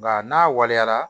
Nka n'a waleyara